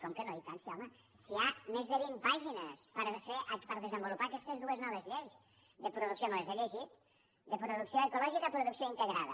com que no i tant sí home si hi ha més de vint pàgines per desenvolupar aquestes dues noves lleis me les he llegit de producció ecològica i producció integrada